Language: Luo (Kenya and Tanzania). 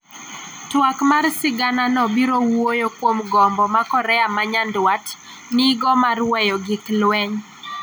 twak mar sigana no biro wuoyo kuom gombo ma Korea ma Nyanduat nigo mar weyo gik lweny